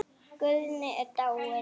Guðni er dáinn.